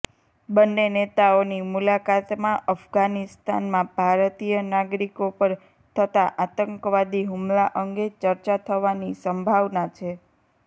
બંને નેતાઓની મુલાકાતમાં અફઘાનિસ્તાનમાં ભારતીય નાગરિકો પર થતાં આતંકવાદી હુમલા અંગે ચર્ચા થવાની સંભાવના છે